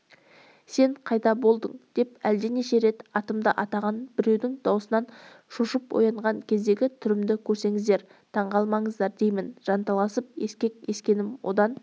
сен қайда болдың деп әлденеше рет атымды атаған біреудің даусынан шошып оянған кездегі түрімді көрсеңіздер таңғалмаңыздар деймін жанталасып ескек ескенім одан